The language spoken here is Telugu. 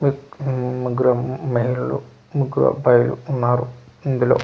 ఇక్ ఉమ్ ముగ్గురు మహిళలు ముగ్గురు అబ్బాయిలు ఉన్నారు ఇందులో .]